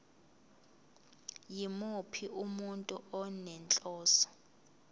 yimuphi umuntu onenhloso